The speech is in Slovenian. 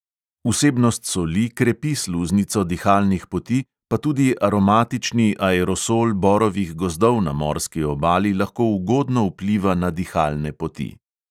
Vsebnost soli krepi sluznico dihalnih poti, pa tudi aromatični aerosol borovih gozdov na morski obali lahko ugodno vpliva na dihalne poti.